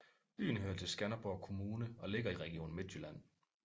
Byen hører til Skanderborg Kommune og ligger i Region Midtjylland